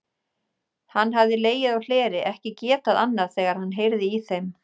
Hann hafði legið á hleri, ekki getað annað þegar hann heyrði í þeim.